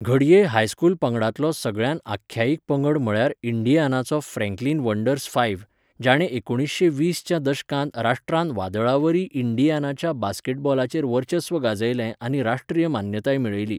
घडये हायस्कूल पंगडांतलो सगळ्यांत आख्यायिक पंगड म्हळ्यार इंडियानाचो फ्रँकलिन वंडर्स फायव्ह, जाणें एकुणीसशें वीस च्या दशकांत राष्ट्रांत वादळावरी इंडियानाच्या बास्केटबॉलाचेर वर्चस्व गाजयलें आनी राश्ट्रीय मान्यताय मेळयली.